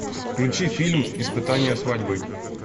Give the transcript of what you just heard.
включи фильм испытание свадьбой